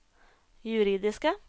juridiske